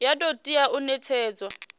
ya do tea u netshedzwa